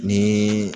Ni